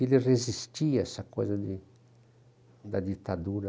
Ele resistia a essa coisa de da ditadura.